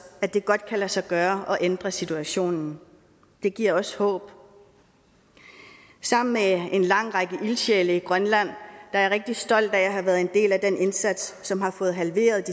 at det godt kan lade sig gøre at ændre situationen det giver også håb sammen med en lang række ildsjæle i grønland er jeg rigtig stolt af at have været en del af den indsats som har fået halveret